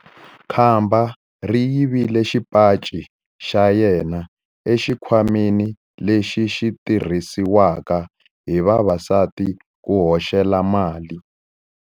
Khamba ri yivile xipaci xa yena exikhwameni lexi xi tirhisiwaka hi vavasati ku hoxela mali.